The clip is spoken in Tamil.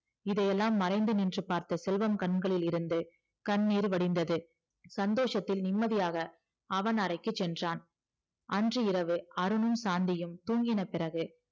இதையெல்லாம் மறைந்து இருந்து பார்த்த செல்வம் கண்கள் இரண்டு கண்ணீர் வடிந்தது சந்தோஷத்தில் நிம்மதியாக அவன் அறைக்கு சென்றான் அன்று இரவு அருணும் சாந்தியும் தூங்கின பிறகு